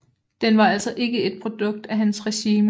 Den var altså ikke et produkt af hans regime